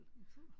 En fugl